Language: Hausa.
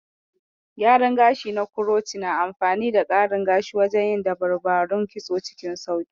Gyaran gashi na kuroci na amfani da ƙarin gashi wajen yin daburbarun kitso cikin sauƙi